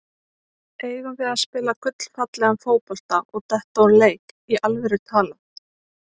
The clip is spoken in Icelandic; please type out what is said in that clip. Eigum við að spila gullfallegan fótbolta og detta úr leik, í alvöru talað?